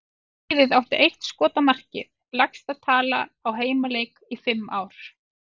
Liðið átti eitt skot á markið, lægsta tala á heimaleik í fimm ár.